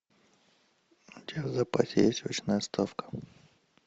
у тебя в запасе есть очная ставка